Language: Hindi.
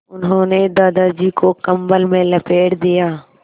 उन्होंने दादाजी को कम्बल में लपेट दिया